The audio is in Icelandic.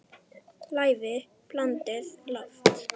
Lævi blandið loft.